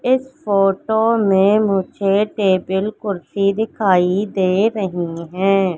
इस फोटो मे मुझे टेबल कुर्सी दिखाई दे रही है।